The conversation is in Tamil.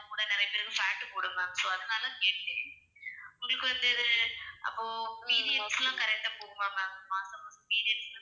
நிறைய பேருக்கு fat போடும் ma'am. so அதுனால கேட்டேன். உங்களுக்கு வந்து அப்போ periods எல்லாம் correct ஆ போகுமா ma'am மாசம், மாசம் periods